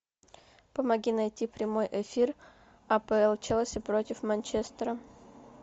помоги найти прямой эфир апл челси против манчестера